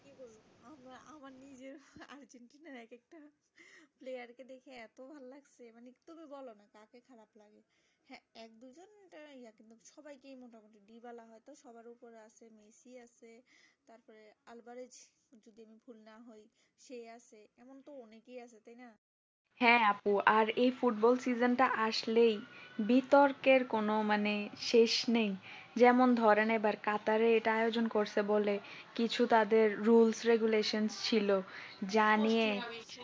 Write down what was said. হ্যাঁ আপু আর এই ফুটবল season টা আসলেই বিতর্কের কোন মানে শেষ নেই যেমন ধরেন এবার কাতারে এটা আয়োজন করেছে বলে কিছু তাদের rules regulations ছিল যা নিয়ে